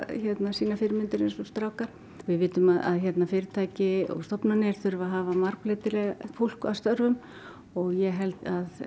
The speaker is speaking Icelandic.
sínar fyrirmyndir eins og strákar við vitum að fyrirtæki og stofnanir þurfa að hafa margbreytilegt fólk að störfum og ég held að